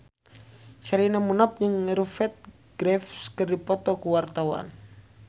Sherina jeung Rupert Graves keur dipoto ku wartawan